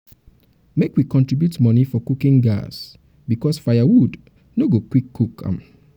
make we contribute money um for cooking um gas um because firewood no no go quick cook am.